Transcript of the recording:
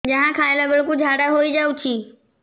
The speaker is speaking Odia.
ଯାହା ଖାଇଲା ବେଳକୁ ଝାଡ଼ା ହୋଇ ଯାଉଛି